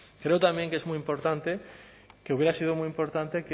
creo también que es muy importante que hubiera sido muy importante